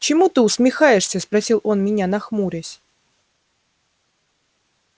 чему ты усмехаешься спросил он меня нахмурясь